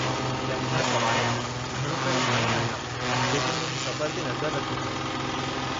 तंहिं खां सिवाइ, घणो करे मां ई आहियां जेको हुन जे सफ़र ते नज़र रखे थो।